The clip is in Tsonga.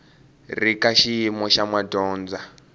ri ka xiyimo xa madyondza